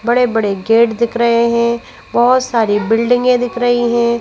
बड़े बड़े गेट दिख रहे हैं बहोत सारी बिल्डिंगे दिख रही है।